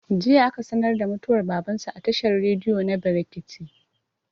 jiya aka sanar da mutuwar baban su a tashar rediyo na brekete